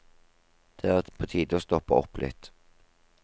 Det er på tide å stoppe opp litt.